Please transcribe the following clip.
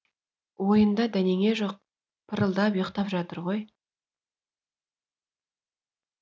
ойында дәнеңе жоқ пырылдап ұйықтап жатыр ғой